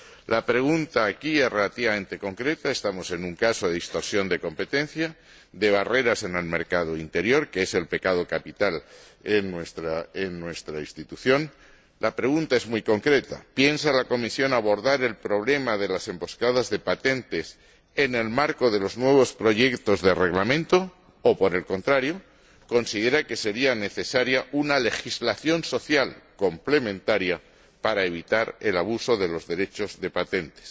La pregunta aquí es relativamente concreta estamos ante un caso de distorsión de competencia, de barreras en el mercado interior, que es el pecado capital en nuestra Institución ¿piensa la Comisión abordar el problema de las emboscadas de patentes en el marco de los nuevos proyectos de Reglamento o, por el contrario, considera que sería necesaria una legislación social complementaria para evitar el abuso de los derechos de patentes?